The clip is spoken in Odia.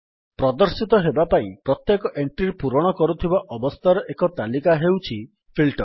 ପ୍ରଦର୍ଶିତ ହେବାପାଇଁ ପ୍ରତ୍ୟେକ ଏଣ୍ଟ୍ରୀ ପୂରଣ କରୁଥିବା ଅବସ୍ଥାର ଏକ ତାଲିକା ହେଉଛି ଫିଲ୍ଟର୍